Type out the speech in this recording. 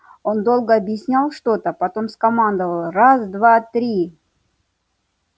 он долго объяснял что-то потом скомандовал раз два три